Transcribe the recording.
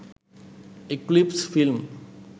eclipse film